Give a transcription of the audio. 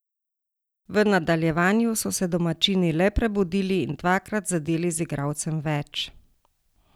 V nadaljevanju so se domačini le prebudili in dvakrat zadeli z igralcem več.